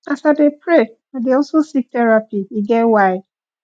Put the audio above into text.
as i dey pray i dey also seek therapy e get why